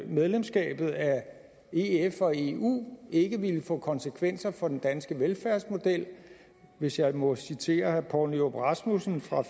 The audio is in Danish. medlemskabet af ef og eu ikke ville få konsekvenser for den danske velfærdsmodel hvis jeg må citere herre poul nyrup rasmussen fra